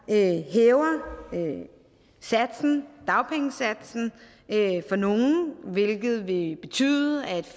hæver dagpengesatsen for nogle hvilket ville betyde at